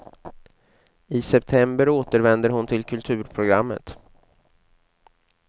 I september återvänder hon till kulturprogrammet.